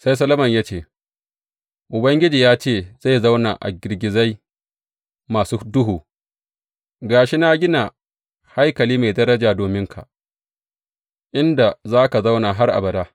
Sai Solomon ya ce, Ubangiji ya ce zai zauna a gizagizai masu duhu; ga shi na gina haikali mai daraja dominka, inda za ka zauna har abada.